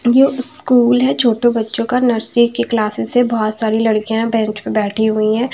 यो school हैं छोटों बच्चों का नर्सरी की क्लासस से बहुत सारी लड़कियाँं बेंच पर बैठी हुई हैं।